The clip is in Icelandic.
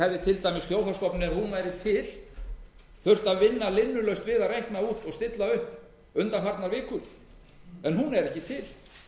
hefði til dæmis þjóðhagsstofnun ef hún væri til þurft að vinna linnulaust við að reikna út og stilla upp undanfarnar vikur en hún er ekki til